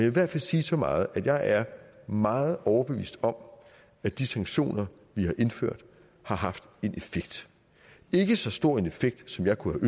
i hvert fald sige så meget at jeg er meget overbevist om at de sanktioner vi har indført har haft en effekt ikke så stor en effekt som jeg kunne